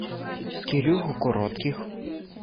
кирюху коротких